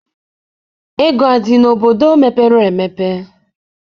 Ego adị n'obodo ,mepere emepe?